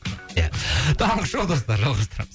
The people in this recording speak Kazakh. ия таңғы шоу достар жалғастырамыз